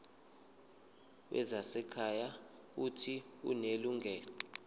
wezasekhaya uuthi unelungelo